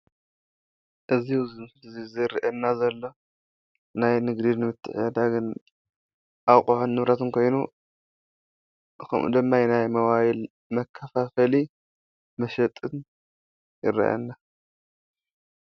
እዚ ኣብዚ ምስሊ እዚ ዝሪአየና ዘሎ ናይ ንግድን ምትዕድዳግን አቁሑን ንብረትን ኮይኑ ከምኡ ድማ ናይ ሞባይል መከፋፈሊ መሸጥን ይረአየና።